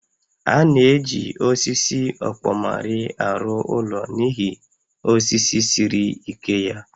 A na-eji osisi ọkpọmarị arụ ụlọ n'ihi osisi siri ike ya